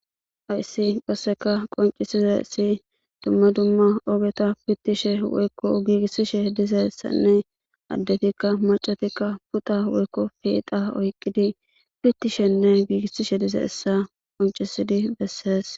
Haysi qasseka qoncisishe dizays dumma dumma ogeta pitishe woyko giigisishe dizaysanne addetinne maccat pita woyko peyxa oykidi pittishenne giigisishe dizaysa qoncisidi bessee.